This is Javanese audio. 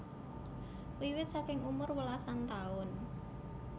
Wiwit saking umur welasan taun